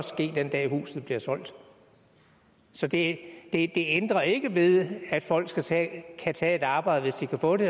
ske den dag i huset bliver solgt så det det ændrer ikke ved at folk kan tage tage et arbejde hvis de kan få det